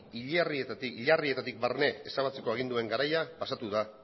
hilerrietatik barne ezabatzeko aginduen garaia pasatu da